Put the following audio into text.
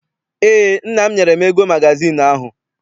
Eé, nna m nyere m ego magazịịnụ ahụ.